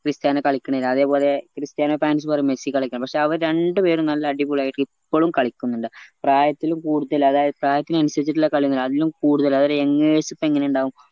Cristiano കളിക്കണില്ല അതുപോലെ Cristiano fans പറയും മെസ്സി കളിക്ക പക്ഷെ അവര് രണ്ടുപേരും നല്ല അടിപൊളിയായിട്ട് ഇപ്പളും കളിക്കിന്നുണ്ട് പ്രായത്തിലുംകൂടുതല് അതായത് പ്രായത്തിനനുസരിച്ചില്ല കളിയൊന്നും അല്ല അതിലും കൂടുതല് ഒരു youngers എപ്പോ എങ്ങനെ ഇണ്ടാവും